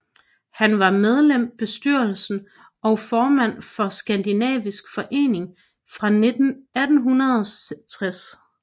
Han var medlem bestyrelsen og formand for for Skandinavisk Forening fra 1860